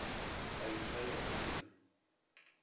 ka letswele go se na